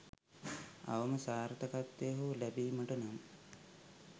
අවම සාර්ථකත්වය හෝ ලැබීමට නම්